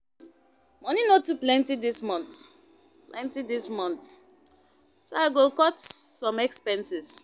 Money no too plenty this month, plenty this month, so I go cut some expenses.